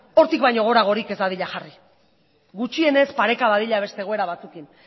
hortik baino goragorik ez dadila jarri gutxienez pareka dadila beste egoera batzuekin